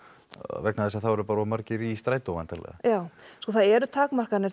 vegna þess að þá eru bara of margir í strætó væntanlega já sko það eru takmarkanir